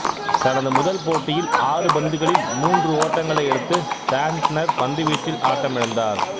தனது முதல் போட்டியில் ஆறு பந்துகளில் மூன்று ஓட்டங்களை எடுத்து சாண்ட்னர் பந்துவீச்சில் ஆட்டமிழந்தார்